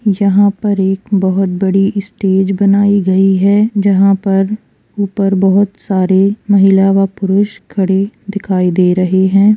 यहाँ पर एक बहुत बड़ी स्टेज बनाई गई है जहाँ पर ऊपर बहुत सारे महिला व पुरुष खड़े दिखाई दे रहे हैं |